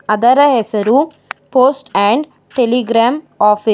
ಅದರ ಹೆಸರು post and telegram office .